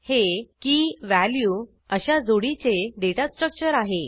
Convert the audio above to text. हे keyवॅल्यू अश्या जोडीचे डेटा स्ट्रक्चर आहे